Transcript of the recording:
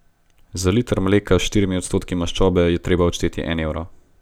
Za liter mleka s štirimi odstotki maščobe je treba odšteti en evro.